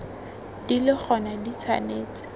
di le gona di tshwanetse